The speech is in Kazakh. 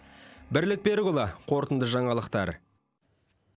бірлік берікұлы қорытынды жаңалықтар